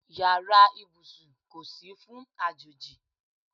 Yàrá ìbùsùn kò sí fún àjòjì.